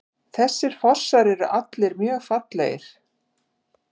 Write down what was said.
Þessir fossar eru allir mjög fallegir.